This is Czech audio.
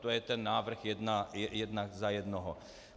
To je ten návrh jeden za jednoho.